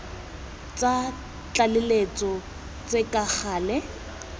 tsa tlaleletso tse ka gale